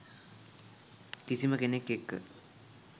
කිසිම කෙනෙක් එක්ක